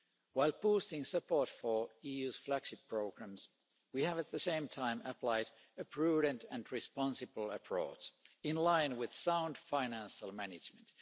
While posting support for EU flagship programmes, we have at the same time applied a prudent and responsible approach in line with sound financial management.